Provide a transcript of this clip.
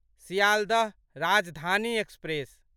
Sealdah Rajdhani express